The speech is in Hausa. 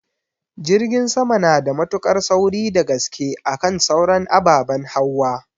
Jirgin sama nada mutuƙar sauri dagaske akan sauran ababen hauwa